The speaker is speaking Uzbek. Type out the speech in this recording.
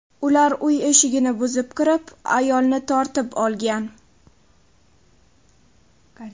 Ular uy eshigini buzib kirib, ayolni tortib olgan.